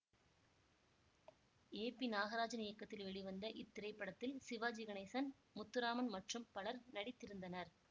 ஏ பி நாகராஜன் இயக்கத்தில் வெளிவந்த இத்திரைப்படத்தில் சிவாஜி கணேசன் முத்துராமன் மற்றும் பலர் நடித்திருந்தனர்